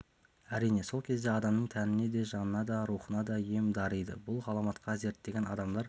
әрине сол кезде адамның тәніне де жанына да рухына да ем дариды бұл ғаламатқа зерттеген адамдар